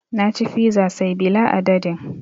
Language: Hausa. Na ci fiza say bila adadin